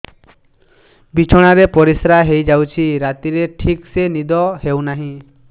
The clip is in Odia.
ବିଛଣା ରେ ପରିଶ୍ରା ହେଇ ଯାଉଛି ରାତିରେ ଠିକ ସେ ନିଦ ହେଉନାହିଁ